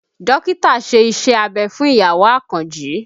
Dókítà ṣe Iṣẹ́ abẹ fún ìyàwó Àkànjí